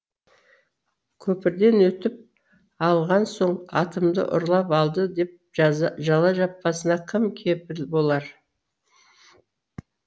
көпірден өтіп алған соң атымды ұрлап алды деп жала жаппасына кім кепіл болар